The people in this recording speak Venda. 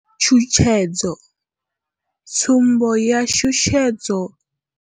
Tshutshedzo tsumbo ya shushedzo.